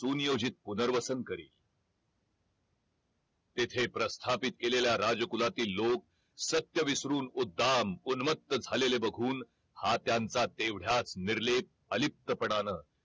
सुनियोजित पुनर्वसन करील तेथे प्रस्थापित केलेल्या राज कुळातील लोक सत्य विसरून उद्दाम उनमत्त झालेले बघून हा त्यांचा तेवढ्याच निर्लेप अलिप्तपणान